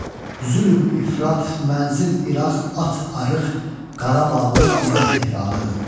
Zülm ifrat, mənzil İraq, at arıq, Qarabağlı bizə Tehrana dönüb.